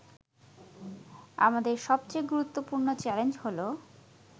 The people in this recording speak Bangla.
আমাদের সবচেয়ে গুরুত্বপূর্ণ চ্যালেঞ্জ হল